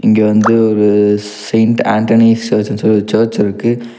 இங்க வந்து ஒரு செயிண்ட் ஆண்டனி சர்ச்ன்னு சொல்லி ஒரு சர்ச் இருக்கு.